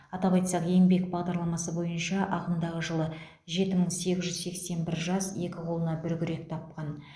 атап айтсақ еңбек бағдарламасы бойынша ағымдағы жылы жеті мың сегіз жүз сексен бір жас екі қолына бір күрек тапқан